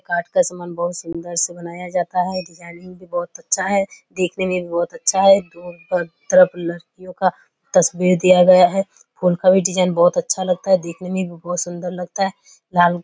काठ का सामान बहोत सुन्दर से बनाया जाता है। डिजाइनिंग भी बहोत अच्छा है देखने में भी बहोत अच्छा है। दोनों तरफ लड़कियों का तस्वीर दिया गया है उनका भी डिजाइन बहोत अच्छा लगता है देखने में भी बहोत सुन्दर लगता है लाल --